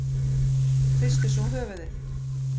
Hristu svo höfuðið.